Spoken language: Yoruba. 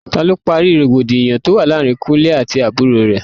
Ta ló parí rògbòdìyàn tó wà láàárín Kúnlẹ́ àti àbúrò rè?